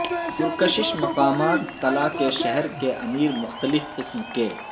پرکشش مقامات تلا کے شہر کے امیر مختلف قسم کے